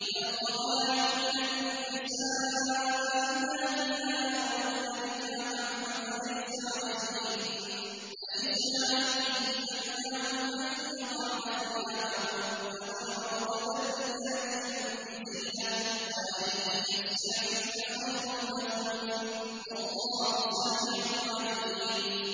وَالْقَوَاعِدُ مِنَ النِّسَاءِ اللَّاتِي لَا يَرْجُونَ نِكَاحًا فَلَيْسَ عَلَيْهِنَّ جُنَاحٌ أَن يَضَعْنَ ثِيَابَهُنَّ غَيْرَ مُتَبَرِّجَاتٍ بِزِينَةٍ ۖ وَأَن يَسْتَعْفِفْنَ خَيْرٌ لَّهُنَّ ۗ وَاللَّهُ سَمِيعٌ عَلِيمٌ